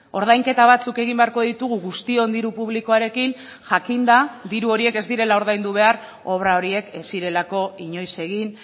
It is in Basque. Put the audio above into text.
ordainketa batzuk egin beharko ditugu guztion diru publikoarekin jakinda diru horiek ez direla ordaindu behar obra horiek ez zirelako inoiz egin